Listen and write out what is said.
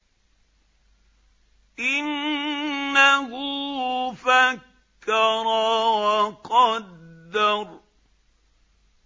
إِنَّهُ فَكَّرَ وَقَدَّرَ